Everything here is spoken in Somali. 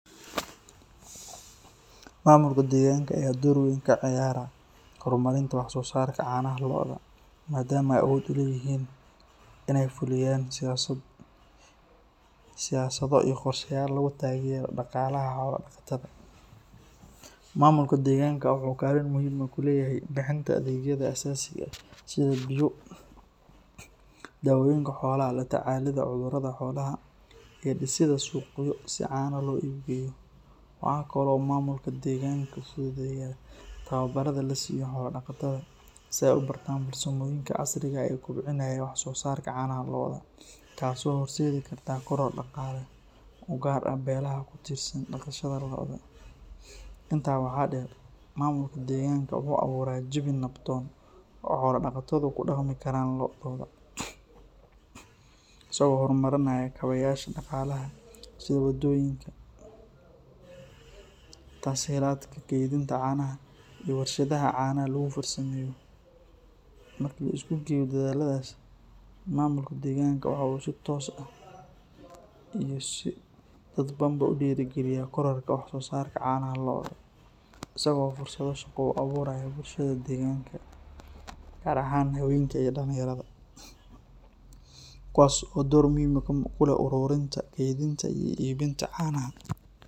Maamulka deegaanka ayaa door weyn ka ciyaara horumarinta wax soo saarka caanaha lo’da, maadaama ay awood u leeyihiin in ay fuliyaan siyaasado iyo qorshayaal lagu taageerayo dhaqaalaha xoolo-dhaqatada. Maamulka deegaanka waxa uu kaalin muhiim ah ku leeyahay bixinta adeegyada asaasiga ah sida biyo, daawooyinka xoolaha, la tacaalida cudurrada xoolaha, iyo dhisidda suuqyo si caanaha loo iib geeyo. Waxa kale oo uu maamulka deegaanka fududeeyaa tababarrada la siiyo xoolo-dhaqatada si ay u bartaan farsamooyinka casriga ah ee kobcinaya wax soo saarka caanaha lo’da, taas oo horseedi karta koror dhaqaale oo u gaar ah beelaha ku tiirsan dhaqashada lo’da. Intaa waxaa dheer, maamulka deegaanka wuxuu abuuraa jawi nabdoon oo xoolo-dhaqatadu ku dhaqmi karaan lo’dooda, isagoo horumarinaya kaabayaasha dhaqaalaha sida waddooyinka, tas-hiilaadka kaydinta caanaha, iyo warshadaha caanaha lagu farsameeyo. Marka la isku geeyo dadaalladaas, maamulka deegaanka waxa uu si toos ah iyo si dadbanba u dhiirrigeliyaa kororka wax soo saarka caanaha lo’da, isagoo fursado shaqo u abuuraya bulshada deegaanka, gaar ahaan haweenka iyo dhalinyarada, kuwaas oo door muuqda ku leh ururinta, kaydinta, iyo iibinta caanaha.